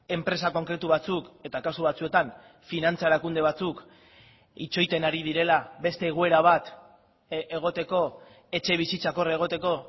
enpresa konkretu batzuk eta kasu batzuetan finantza erakunde batzuk itxoiten ari direla beste egoera bat egoteko etxebizitzak hor egoteko